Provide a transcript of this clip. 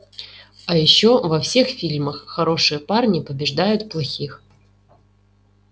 а ещё во всех фильмах хорошие парни побеждают плохих